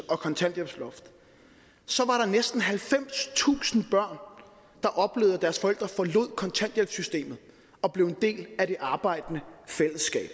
og kontanthjælpsloft så var der næsten halvfemstusind børn der oplevede at deres forældre forlod kontanthjælpssystemet og blev en del af det arbejdende fællesskab